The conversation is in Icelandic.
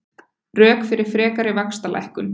Rök fyrir frekari vaxtalækkun